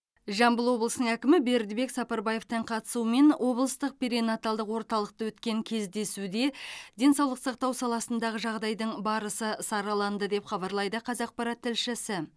жамбыл облысының әкімі бердібек сапарбаевтың қатысуымен облыстық перинаталдық орталықта өткен кездесуде денсаулық сақтау саласындағы жағдайдың барысы сараланды деп хабарлайды қазақпарат тілшісі